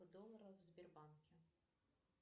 долларов в сбербанке